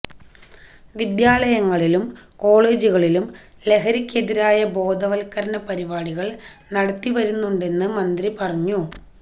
വിദ്യാലയങ്ങളിലും കോളേജുകളിലും ലഹരിക്കെതിരായ ബോധവല്ക്കരണ പരിപാടികള് നടത്തിവരുന്നുണ്ടെന്ന് മന്ത്രി പറഞ്ഞു